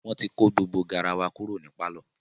wọ́n ti kó gbogbo garawa kúrò ní pálọ̀.